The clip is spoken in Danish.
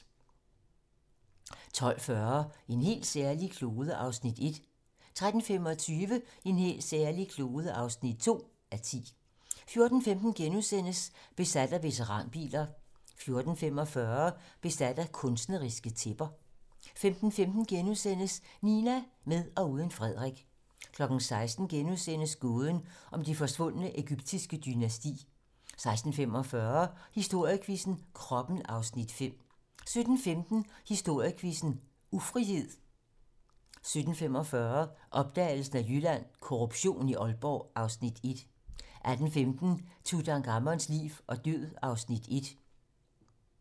12:40: En helt særlig klode (1:10) 13:25: En helt særlig klode (2:10) 14:15: Besat af veteranbiler * 14:45: Besat af kunstneriske tæpper 15:15: Nina - med og uden Frederik * 16:00: Gåden om det forsvundne egyptiske dynasti * 16:45: Historiequizzen: Kroppen (Afs. 5) 17:15: Historiequizzen: Ufrihed 17:45: Opdagelsen af Jylland: Korruption i Aalborg (Afs. 1) 18:15: Tutankhamons liv og død (Afs. 1)